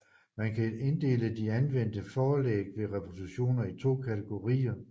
Man kan inddele de anvendte forlæg for reproduktionerne i to kategorier